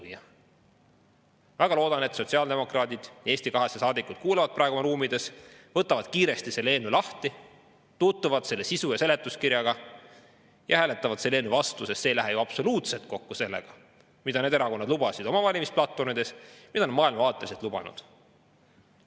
Ma väga loodan, et sotsiaaldemokraadid ja Eesti 200 saadikud kuulavad praegu oma ruumides, võtavad kiiresti selle eelnõu lahti, tutvuvad selle sisu ja seletuskirjaga ning hääletavad selle eelnõu vastu, sest see ei lähe ju absoluutselt kokku sellega, mida need erakonnad oma valimisplatvormides lubasid ja mida nad on maailmavaateliselt lubanud.